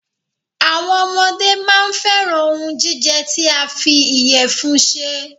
Àwọn ọmọdé máa n fẹ́ran òhún jíjẹ tí a fí ìyẹ̀fun ṣe.